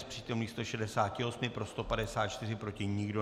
Z přítomných 168 pro 154, proti nikdo.